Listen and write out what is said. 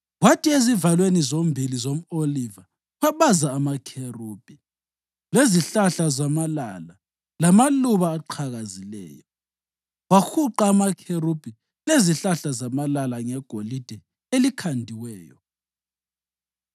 Kwathi ezivalweni zombili zomʼoliva wabaza amakherubhi, lezihlahla zamalala lamaluba aqhakazileyo, wahuqa amakherubhi lezihlahla zamalala ngegolide elikhandiweyo.